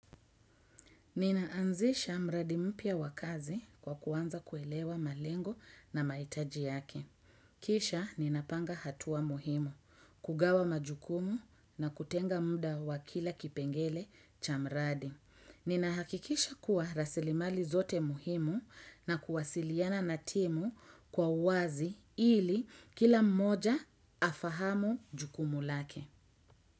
Ninaanzisha mradi mpya wa kazi kwa kuanza kuelewa malengo na mahitaji yake. Kisha ninapanga hatua muhimu, kugawa majukumu na kutenga muda wa kila kipengele cha mradi ninahakikisha kuwa rasilimali zote muhimu na kuwasiliana na timu kwa uwazi ili kila mmoja afahamu jukumu lake.